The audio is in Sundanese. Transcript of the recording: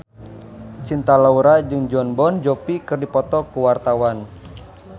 Cinta Laura jeung Jon Bon Jovi keur dipoto ku wartawan